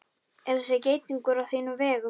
Er þessi geitungur á þínum vegum?